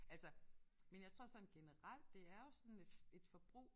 Altså men jeg tror sådan generelt det er jo sådan et et forbrug